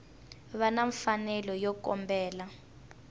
va na mfanelo yo kombela